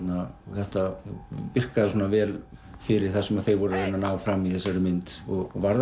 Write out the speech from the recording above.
þetta virkaði svona vel fyrir það sem þeir voru að að ná fram í þessari mynd og varð